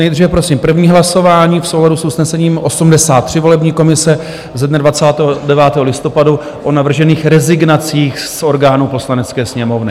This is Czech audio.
Nejdříve prosím první hlasování v souladu s usnesením 83 volební komise ze dne 29. listopadu o navržených rezignacích z orgánů Poslanecké sněmovny.